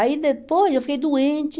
Aí depois eu fiquei doente.